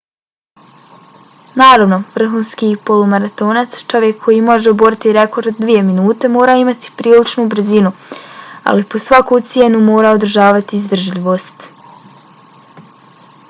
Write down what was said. naravno vrhunski polumaratonac čovjek koji može oboriti rekord od dvije minute mora imati priličnu brzinu ali po svaku cijenu mora održavati izdržljivost